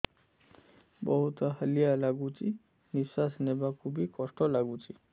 ବହୁତ୍ ହାଲିଆ ଲାଗୁଚି ନିଃଶ୍ବାସ ନେବାକୁ ଵି କଷ୍ଟ ଲାଗୁଚି